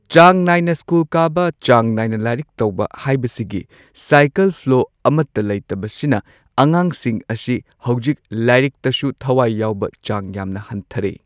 ꯆꯥꯡ ꯅꯥꯏꯅ ꯁ꯭ꯀꯨꯜ ꯀꯥꯕ ꯆꯥꯡ ꯅꯥꯏꯅ ꯂꯥꯏꯔꯤꯛ ꯇꯧꯕ ꯍꯥꯏꯕꯁꯤꯒꯤ ꯁꯥꯏꯀꯜ ꯐ꯭ꯂꯣ ꯑꯃꯠꯇ ꯂꯩꯇꯕ ꯁꯤꯅ ꯑꯉꯥꯡꯁꯤꯡ ꯑꯁꯤ ꯍꯧꯖꯤꯛ ꯂꯥꯏꯔꯤꯛꯇꯁꯨ ꯊꯋꯥꯏ ꯌꯥꯎꯕ ꯆꯥꯡ ꯌꯥꯝꯅ ꯍꯟꯊꯔꯦ꯫